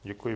Děkuji.